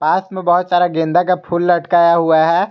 पास में बहुत सारा गेंदा का फूल लटकाया हुआ है।